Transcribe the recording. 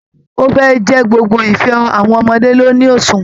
Ó fẹ́ ẹ̀ ẹ́ jẹ́ gbogbo ife àwọn ọmọdé ló ní òṣùwọ̀n